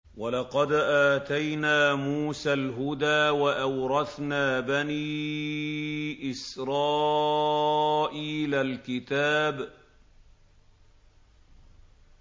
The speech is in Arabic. وَلَقَدْ آتَيْنَا مُوسَى الْهُدَىٰ وَأَوْرَثْنَا بَنِي إِسْرَائِيلَ الْكِتَابَ